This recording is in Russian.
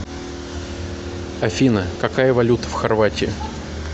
афина какая валюта в хорватии